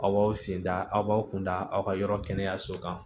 Aw b'aw senda aw b'aw kun da aw ka yɔrɔ kɛnɛyaso kan